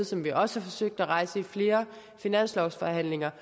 som vi også har forsøgt at rejse i flere finanslovsforhandlinger